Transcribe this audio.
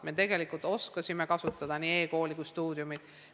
Me tegelikult oskasime kasutada nii eKooli kui ka Stuudiumit.